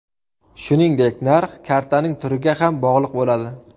Shuningdek narx kartaning turiga ham bog‘liq bo‘ladi .